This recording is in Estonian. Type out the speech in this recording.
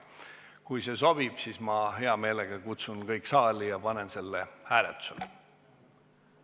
Kui see sobib, siis ma hea meelega kutsun kõik saali ja panen selle hääletusele.